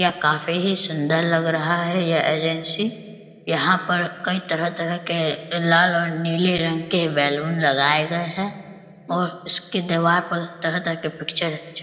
यह काफी ही सुन्दर लग रहा है ये एजेंसी ।.यहाँ पर कई तरह-तरह के लाल और नीले रंग के बैलून लगाए गए हैं और इसके दीवार पर तरह-तरह के पिक्चर --